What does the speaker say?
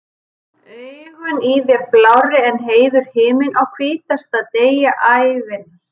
Augun í þér blárri en heiður himinn, á hvítasta degi ævinnar.